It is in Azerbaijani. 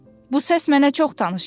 Bu səs mənə çox tanış gəldi.